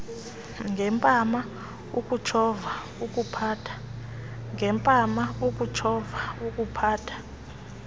ngempama ukutshova ukuphatha